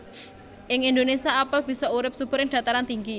Ing Indonésia apel bisa urip subur ing dhataran tinggi